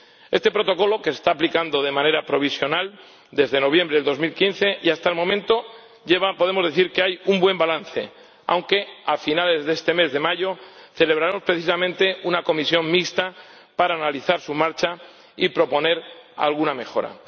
Este Protocolo se está aplicando de manera provisional desde noviembre de 2015 y, hasta el momento, podemos decir que hay un buen balance, aunque a finales de este mes de mayo celebraremos precisamente una comisión mixta para analizar su marcha y proponer alguna mejora.